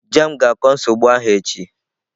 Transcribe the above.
Jame ga-akọ nsogbu ahụ echi.